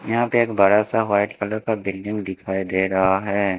यहां पे एक बड़ासा व्हाइट कलर का बिल्डिंग दिखाई दे रहा हैं।